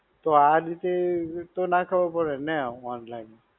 તો આ જ રીતે તો ના ખબર પડે ને online?